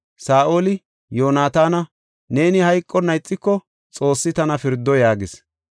Saa7oli, “Yoonataana, neeni hayqonna ixiko, Xoossi tana pirdo” yaagis.